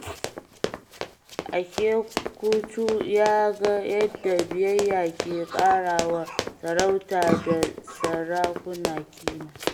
Okechukwu ya ga yadda biyayya ke kara wa sarauta da sarakuna ƙima.